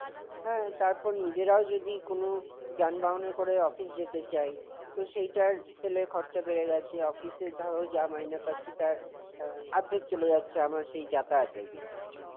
হ্যাঁ, তারপর নিজেরাও যদি কোনো যানবাহনে করে office যেতে চাই, তো সেইটার তেলের খরচা বেড়ে গেছে, অফিসের ধরো, যা মাইনে পাচ্ছি তার আর্ধেক চলে যাচ্ছে আমার সেই যাতায়াত এর পিছনে।